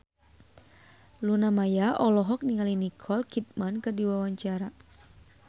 Luna Maya olohok ningali Nicole Kidman keur diwawancara